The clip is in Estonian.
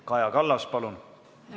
Kaja Kallas, palun!